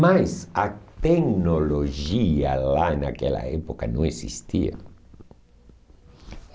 Mas a tecnologia lá naquela época não existia.